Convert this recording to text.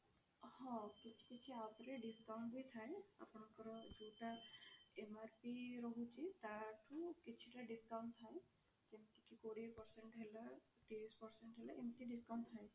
ହଁ କିଛି କିଛି app ରେ discount ବି ଥାଏ ଆପଣଙ୍କର ଯୋଉଟା MRP ରହୁଛି ତାଠୁ କିଛି ଟା discount ଥାଏ ଯେମିତି କି କୋଡିଏ percent ହେଲା ତିରିଶି percent ହେଲା ଏମିତି discount ଥାଏ।